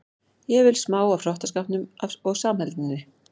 Ég vil smá af hrottaskapnum og samheldninni.